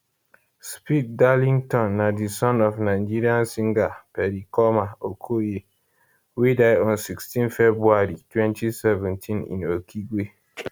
speed darlington na di son of nigeria singer pericoma okoye wey die on 16 february 2017 in okigwe